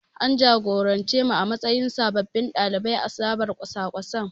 An jagorance mu a matsayin sababbin ɗalibai a zabar kwasa-kwasan.